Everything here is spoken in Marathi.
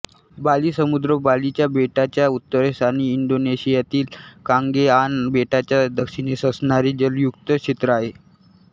बाली समुद्र बालीच्या बेटाच्या उत्तरेस आणि इंडोनेशियातील कांगेआन बेटांच्या दक्षिणेस असणारे जलयुक्त क्षेत्र आहे